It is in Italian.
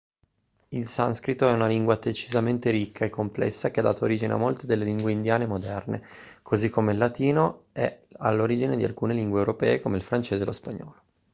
il sanscrito è una lingua decisamente ricca e complessa che ha dato origine a molte delle lingue indiane moderne così come il latino è all'origine di alcune lingue europee come il francese e lo spagnolo